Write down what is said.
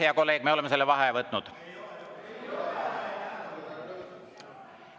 Hea kolleeg, me oleme selle vaheaja võtnud.